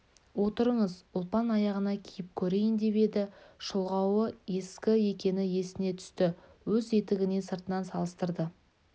отырыңыз ұлпан аяғына киіп көрейін деп еді шұлғауы ескі екені есіне түсті өз етігіне сыртынан салыстырды